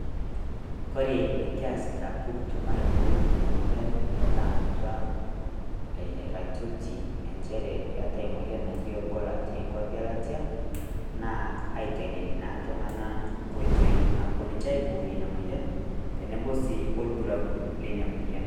Kore nikeesita pukutum aibooyo enia moyian nikitamutua raitoto encheerre keatai naji Ebola te kwapii elatia, naa aiteng'ene naa ltung'ana nkotoi naapo ninchee aiboorie nenia moyian teneboo sii olburaabul nenia moyian.